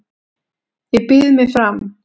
Ég býð mig fram